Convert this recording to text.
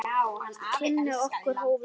Kynni okkar hófust síðar.